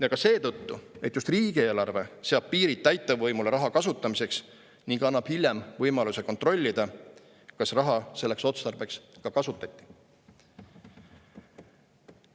Ja ka seetõttu, et just riigieelarve seab piirid täitevvõimule raha kasutamiseks ning annab hiljem võimaluse kontrollida, kas raha selleks otstarbeks ka kasutati.